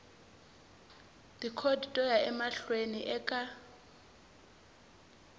tikhodi to ya emahlweni eka